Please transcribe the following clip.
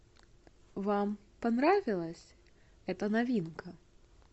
вам понравилась эта новинка